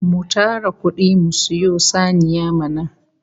Mu tara kudi mu sayo saniya mana!